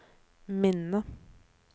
minne